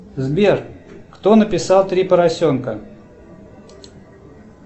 сбер кто написал три поросенка